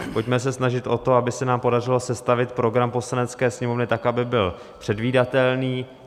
Pojďme se snažit o to, aby se nám podařilo sestavit program Poslanecké sněmovny tak, aby byl předvídatelný.